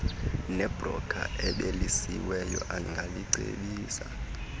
nebroker ebhalisiweyo angakucebisa